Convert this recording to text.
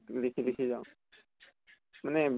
লিখি লিখি যাওঁ মানে